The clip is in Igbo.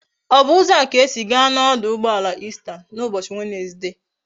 O bu uzo a ka i ga esi gaa na oduugboala Eastern na ubochi Wednesday?